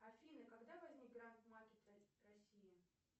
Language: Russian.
афина когда возник гранд макет россии